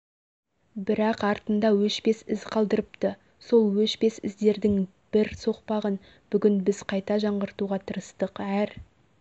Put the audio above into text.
бірақ артында өшпес із қалдырыпты сол өшпес іздердің бір соқпағын бүгін біз қайта жаңғыртуға тырыстық әр